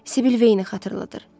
Sibil Veyni xatırladır.